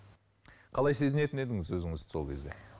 қалай сезінетін едіңіз өзіңізді сол кезде